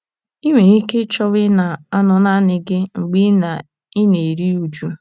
I nwere ike ịchọwa ịna - anọ naanị gị mgbe ị na - ị na - eru uju.